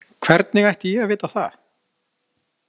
Hvernig ætti ég að vita það?